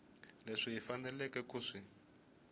leswi hi faneleke ku swi